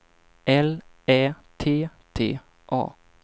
L Ä T T A